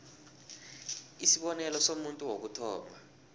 isibonelo somuntu wokuthoma